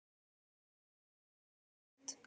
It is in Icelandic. Kristján Már: Hversu sterkt?